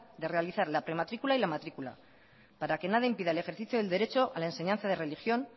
de realizar la prematricula y la matrícula para que nada impida el ejercicio del derecho a la enseñanza de religión